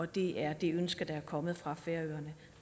det er det ønske der er kommet fra færøerne